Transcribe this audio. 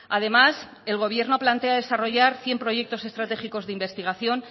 además el gobierno plantea desarrollar cien proyectos estratégicos de investigación